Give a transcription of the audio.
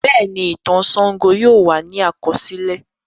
Bẹ́ẹ̀ni, ìtàn Ṣàngó yóò wà ní àkọsílẹ̀.